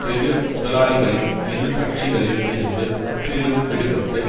பெரு முதலாளிகளின் இருகட்சிகளில் இருந்து முற்றிலும் விடுபட்டு